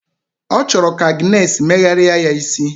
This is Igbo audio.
O choro ka Agness meghari ya isi.